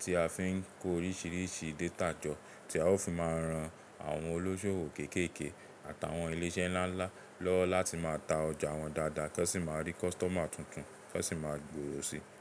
tí a fi ń kó oríṣìíríṣìí data jọ, tí a ó fi máa ran àwọn olóṣòwò kéékèèké àtàwọn ilé isẹ́ ńláńlá lọ́wọ́ láti máa ta ọjà wọn dáadáa kí wọ́n sì máa rí customer tuntun kí wọ́n sì máa gbòòrò si.